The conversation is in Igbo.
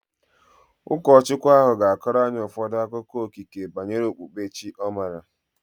Ụkọchukwu ahu ga-akọrọ anyị ụfọdụ akụkọ okike banyere okpukpere chi ọ maara